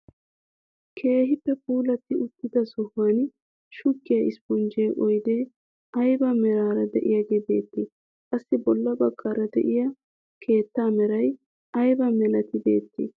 Keehippe puulatti uttida sohuwaan shuggiyaa isponjje oydee ayba meraara de'iyaage beettii? qassi bolla baggaara de'iyaa keettaa meray aybaa milatii beettii?